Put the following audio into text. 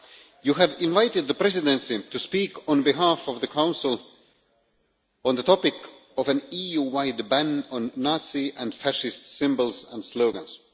you have invited the Presidency to speak on behalf of the Council on the topic of an EU wide ban on Nazi and fascist symbols and slogans.